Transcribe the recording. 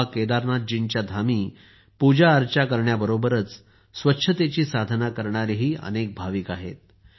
बाबा केदारजींच्या धामी पूजाअर्चा करण्याबरोबरच स्वच्छतेची साधना करणारेही अनेक भक्त आहेत